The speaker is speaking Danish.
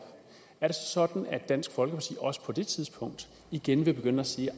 er det så sådan at dansk folkeparti også på det tidspunkt igen vil begynde at sige at